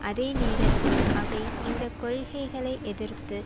அதே நேரத்தில் அவை இந்த கொள்கைகளை எதிர்த்து